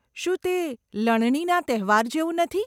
શું તે લણણીના તહેવાર જેવું નથી?